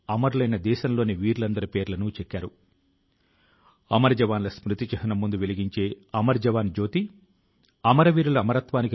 భారతదేశం వందేళ్ల లో వచ్చిన అతి పెద్ద మహమ్మారి తో పోరాడగలగడం అందరి కృషి ఫలితం